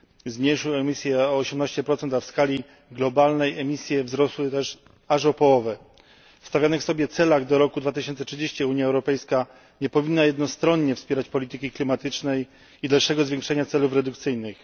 zmniejszył emisję o 18, a w skali globalnej emisje wzrosły aż o połowę. W stawianych sobie celach do roku 2030 Unia Europejska nie powinna jednostronnie wspierać polityki klimatycznej i dalszego zwiększenia celów redukcyjnych.